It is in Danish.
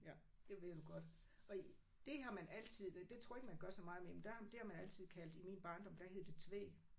Ja det ved du godt. Og det har man altid det tror jeg ikke man gør så meget mere men der det har man altid i min barndom der hed det Tvede